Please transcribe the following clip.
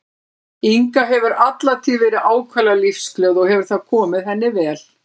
Inga hefur alla tíð verið ákaflega lífsglöð og hefur það komið henni vel.